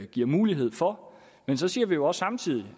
giver mulighed for men så siger vi jo også samtidig